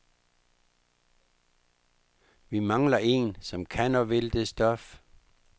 Vi mangler én, som kan og vil det stof.